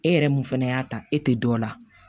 E yɛrɛ mun fana y'a ta e tɛ dɔ la